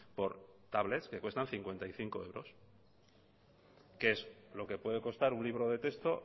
por tablet que cuestan cincuenta y cinco euros que es lo que puede costar un libro de texto